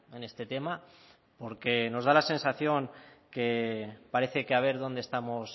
en este tema porque nos da la sensación que parece que a ver dónde estamos